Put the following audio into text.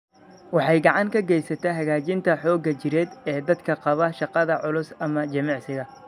Waxay gacan ka geysataa hagaajinta xoogga jireed ee dadka qaba shaqada culus ama jimicsiga.